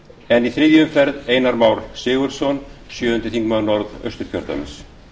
en í þriðju umferð einar már sigurðarson sjöundi þingmaður norðausturkjördæmis